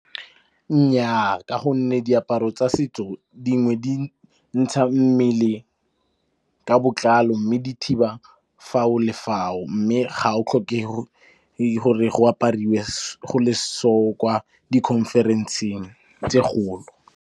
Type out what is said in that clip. Nnyaa, ka gonne diaparo tsa setso dingwe di ntsha mmele ka botlalo mme di thiba fao le fao, mme ga o tlhoke gore go apariwe go le so kwa di conference-eng tse .